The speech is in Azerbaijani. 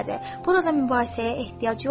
Burada mübahisəyə ehtiyac yoxdur.